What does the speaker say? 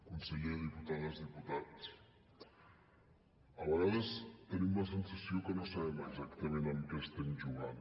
conseller diputades diputats a vegades tenim la sensació que no sabem exactament amb què estem jugant